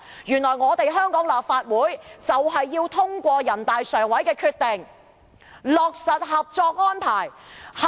原來香港的立法會就是要通過人大常委會的決定，落實《合作安排》。